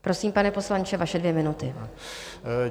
Prosím, pane poslanče, vaše dvě minuty.